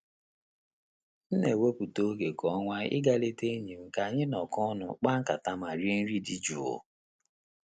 M n'ewepụta oge kwa ọnwa i ga ileta enyi m ka anyị nọk'ọnụ kpaa nkata ma rie nri dị jụụ.